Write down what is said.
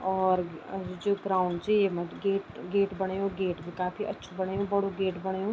और अर जू ग्राउंड च येमा त गेट गेट बणयु गेट भी काफी अच्छु बणयु बडू गेट बणयु।